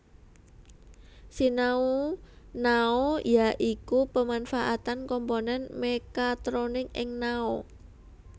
Sinau Nao ya iku pemanfaatan komponen mekatronik ing nao